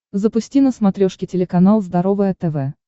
запусти на смотрешке телеканал здоровое тв